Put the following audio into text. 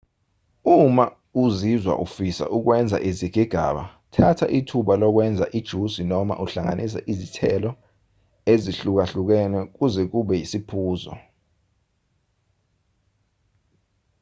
uma uzizwa ufisa ukwenza izigigaba thatha ithuba lokwenza ijusi noma uhlanganise izithelo ezihlukahlukene ukuze kube yisiphuzo